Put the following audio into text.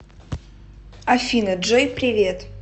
афина джой привет